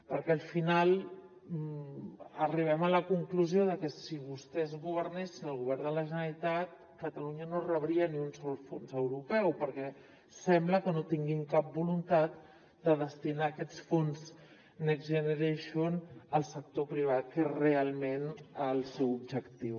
perquè al final arribem a la conclusió de que si vostès governessin al govern de la generalitat catalunya no rebria ni un sol fons europeu perquè sembla que no tinguin cap voluntat de destinar aquests fons next generation al sector privat que és realment el seu objectiu